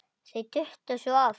Þau duttu svo oft af.